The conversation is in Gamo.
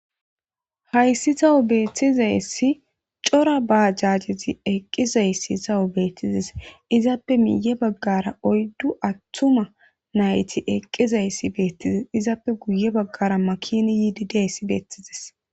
hayssi tawo beettizayssi cora ba jaajezi eqqizayssi sawu beettizes izaappe miye baggara oyddu attuma nayti eqqizayssi beettizes izaappe guye baggara makini yiidideyssi beettizes